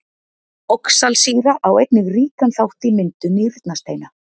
Oxalsýra á einnig ríkan þátt í myndun nýrnasteina.